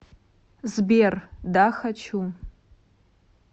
сбер да хочу